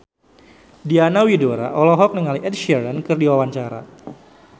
Diana Widoera olohok ningali Ed Sheeran keur diwawancara